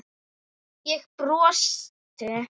Ég brosti.